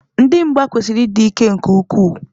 Ndị mgba kwesịrị ịdị ike nke ukwuu.